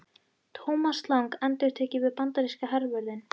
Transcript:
Thomas Lang endurtek ég við bandaríska hervörðinn.